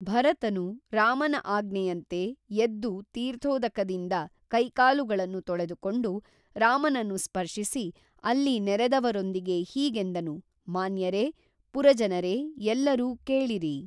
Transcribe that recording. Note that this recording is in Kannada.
ಭರತನು ರಾಮನ ಆಜ್ಞೆಯಂತೆ ಎದ್ದು ತೀರ್ಥೋದಕದಿಂದ ಕೈಕಾಲುಗಳನ್ನು ತೊಳೆದುಕೊಂಡು ರಾಮನನ್ನು ಸ್ಪರ್ಶಿಸಿ ಅಲ್ಲಿ ನೆರೆದವರೊಂದಿಗೆ ಹೀಗೆಂದನು ಮಾನ್ಯರೆ ಪುರಜನರೇ ಎಲ್ಲರೂ ಕೇಳಿರಿ